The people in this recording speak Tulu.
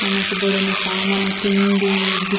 ನಮಕ್ ಬೋಡಾಯಿನ ಸಾಮನ್ ತಿಂಡಿ ಬಿ --